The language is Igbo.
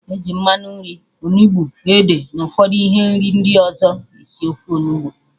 Eji mmanụ nri, onugbu, ede na ụfọdụ ihe nri ndị ọzọ esi ofe Onugbu